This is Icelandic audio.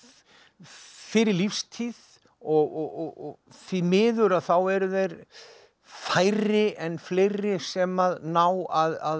fyrir lífstíð og því miður að þá eru þeir færri en fleiri sem ná að